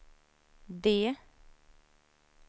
D